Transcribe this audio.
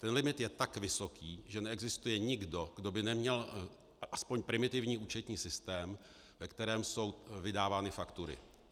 Ten limit je tak vysoký, že neexistuje nikdo, kdo by neměl aspoň primitivní účetní systém, ve kterém jsou vydávány faktury.